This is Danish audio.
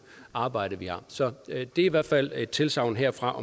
arbejde vi har så det er i hvert fald et tilsagn herfra